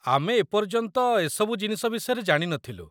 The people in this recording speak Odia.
ଆମେ ଏପର୍ଯ୍ୟନ୍ତ ଏସବୁ ଜିନିଷ ବିଷୟରେ ଜାଣି ନଥିଲୁ